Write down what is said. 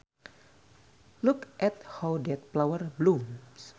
Look at how that flower blooms